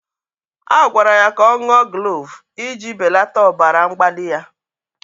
A gwara ya ka ọ ṅụọ glove iji belata ọbara mgbali ya